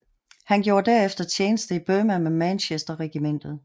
Han gjorde derfter tjeneste i Burma med Manchester Regimentet